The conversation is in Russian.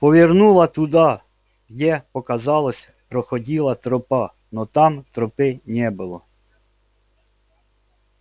повернула туда где показалось проходила тропа но там тропы не было